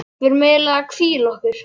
Við erum eiginlega að hvíla okkur.